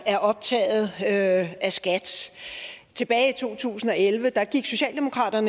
er optaget af skat tilbage i to tusind og elleve gik socialdemokratiet